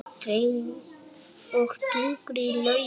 Og drekkur í laumi.